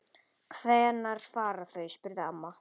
Hvenær fara þau? spurði amma.